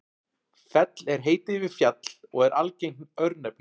fell er heiti yfir fjall og er algengt örnefni